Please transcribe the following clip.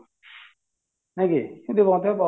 ନାଇଁ କି